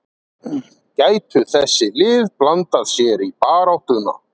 Gætu þessi lið blandað sér í baráttuna?